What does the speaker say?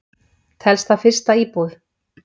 Telst það fyrsta íbúð?